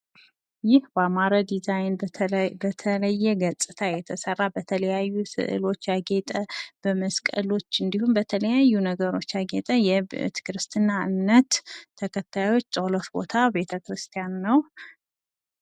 ይህ በአማረ ዲዛይን በተለየ ገፅታ የተሰራ በተለያዩ ስዕሎች ያጌጠ በመስቀሎች እንዲሁም በተለያዩ ነገሮች ያጌጠ የክርስትና እምነት ተከታዮች ፀሎት ቦታ ቤተክርስቲያን ነዉ።